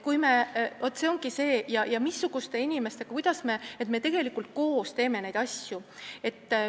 Me tegelikult koos teeme neid asju.